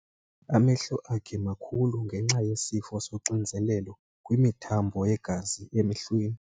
Amehlo akhe makhulu ngenxa yesifo soxinzelelo kwimithambo yegazi esemehlweni.